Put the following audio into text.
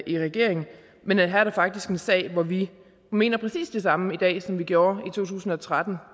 i regering men her er der faktisk en sag hvor vi mener præcis det samme i dag som vi gjorde i to tusind og tretten